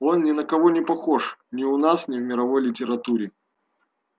он ни на кого не похож ни у нас ни в мировой литературе